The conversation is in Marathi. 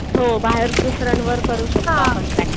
हो बाहेर दुसऱ्यांवर करू शकतो आपण प्रॅक्टिस.